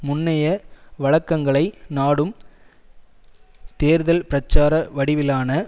முன்னைய வழக்கங்களை நாடும் தேர்தல் பிரச்சார வடிவிலான